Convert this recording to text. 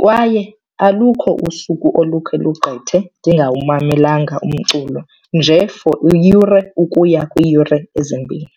kwaye alukho usuku olukhe lugqithe ndingawumamelanga umculo, nje for iyure ukuya kwiiyure ezimbini.